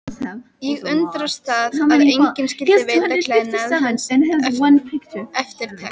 Ég undraðist það að enginn skyldi veita klæðnaði hans eftirtekt.